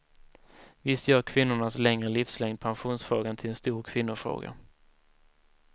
Visst gör kvinnornas längre livslängd pensionsfrågan till en stor kvinnofråga.